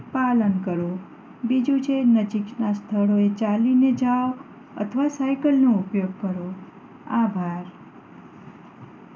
પાલન કરો બીજું છે નજીક ના સ્થળો એ ચાલી ને જાઓ અથવા સાઇકલ નો ઉપયોગ કરો આભાર